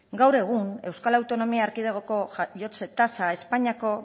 gaur egun euskal autonomia erkidegoko jaiotze tasa espainiako